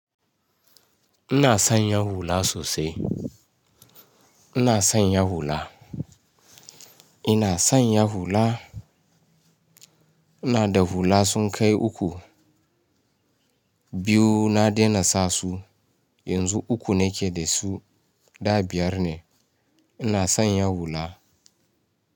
Ina son Yahools sosai. Ina son Yahoo la. Ina son. Yahoo la. Ina da hula sun kai uku. Biyu na daina sa su. Yanzu uku nake da su, da biyar ne. Ina son Ya hulla.